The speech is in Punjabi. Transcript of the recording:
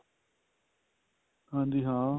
ਹਾਂਜੀ ਹਾਂ